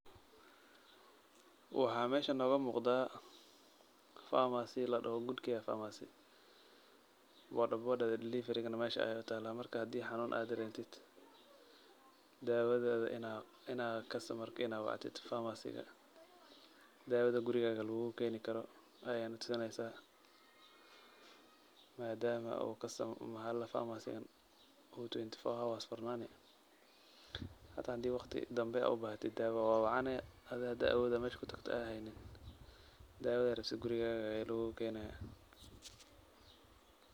Waxaa meeshan noogu muqdaa pharmacy ladhaho[good care pharmacy. Bodhabodhada dilivarigana meesha ay taalaa. Marka, haddii aad hanuun aad dareentid, daawadaada inaay kastamarka inaa wactid faamasiga. Daawada gurigaaga lugugu keeni karo ayaa natusineysaa. Maadama oo customer oo faamasigan twenty four hours furnaani. Hata haddii wakhti dambi u baahatid daawo waa wacani adi haddii aad awood aad meesha ku tagto aad haynin, daawada gurigaaga ayaa lugugu keenaaya.